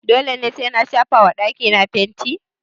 Dole sai na shafa wa dakí na fanti?